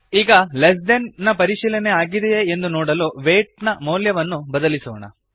ಈಗ less than ನ ಪರಿಶೀಲನೆ ಆಗಿದೆಯೇ ಎಂದು ನೋಡಲು ವೇಯ್ಟ್ ನ ಮೌಲ್ಯವನ್ನು ಬದಲಿಸೋಣ